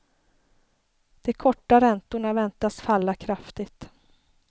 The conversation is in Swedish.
De korta räntorna väntas falla kraftigt.